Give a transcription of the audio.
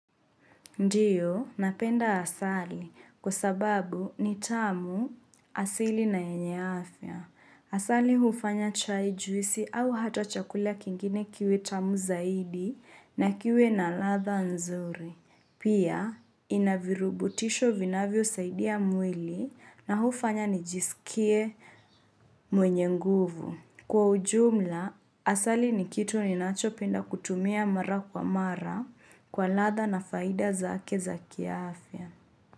Ndiyo, napenda asali kwa sababu ni tamu asili na yenye afya. Asali hufanya chai juisi au hata chakulia kingine kiwe tamu zaidi na kiwe na ladha nzuri. Pia, inavirubutisho vinavyo saidia mwili na hufanya nijisikie mwenye nguvu. Kwa ujumla, asali ni kitu ni nacho penda kutumia mara kwa mara kwa ladha na faida za ake za kiaafya.